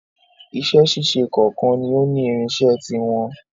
Iṣẹ́ ṣíṣe kọ̀ọ̀kan ni ó ní irinṣẹ́ ti wọn.